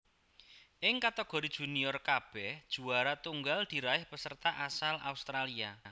Ing kategori junior kabèh juwara tunggal diraih peserta asal Australia